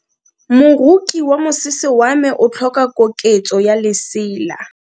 Moroki wa mosese wa me o tlhoka koketso ya lesela.